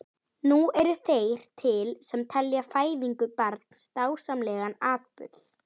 Nú eru þeir til sem telja fæðingu barns dásamlegan atburð.